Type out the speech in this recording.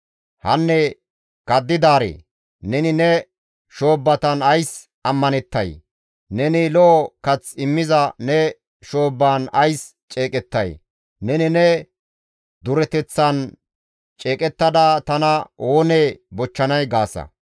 Hanne kaddidaaree! Neni ne shoobbatan ays ammanettay? Neni lo7o kath immiza ne shoobban ays ceeqettay? neni ne dureteththan ceeqettada, ‹Tana oonee bochchanay?› gaasa.